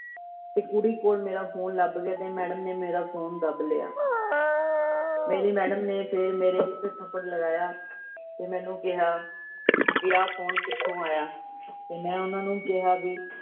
ਤੇ ਕੁੜੀ ਕੋਲ ਮੇਰਾ phone ਲੱਭ ਗਿਆ ਤੇ madam ਨੇ ਮੇਰਾ phone ਦੱਬ ਲਿਆ। ਮੇਰੀ madam ਨੇ ਫੇਰ ਮੇਰੇ ਇਕ ਥਪੜ ਲਗਾਇਆ ਤੇ ਮੈਨੂੰ ਕਿਹਾ ਵੀ ਆਹ phone ਕਿਥੋਂ ਆਇਆ ਤੇ ਮੈ ਓਹਨਾ ਨੂੰ ਕਿਹਾ ਵੀ।